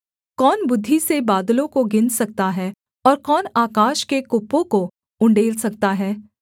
कौन बुद्धि से बादलों को गिन सकता है और कौन आकाश के कुप्पों को उण्डेल सकता है